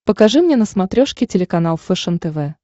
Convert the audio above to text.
покажи мне на смотрешке телеканал фэшен тв